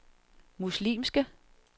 muslimske